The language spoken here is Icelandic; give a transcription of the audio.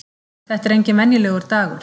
Þetta er enginn venjulegur dagur!